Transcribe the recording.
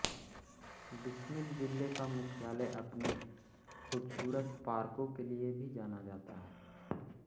बिस्मिल जिले का मुख्यालय अपने खूबसूरत पार्कों के लिये भी जाना जाता है